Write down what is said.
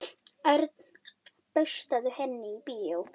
Örn, bauðstu henni í bíó?